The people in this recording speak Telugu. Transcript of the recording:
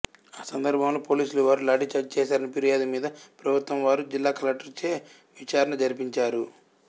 ఆసందర్భములో పోలీసులవారు లాఠీ చార్జీ చేశారని ఫిర్యాదుమీద ప్రభుత్వమువారు జిల్లాకలెక్టరుచే విచారణజరిపించారు